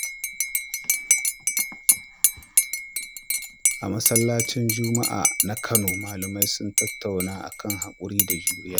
A masallacin Juma’a na Kano, malamai sun tattauna kan hakuri da juriya.